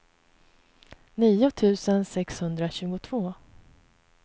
nio tusen sexhundratjugotvå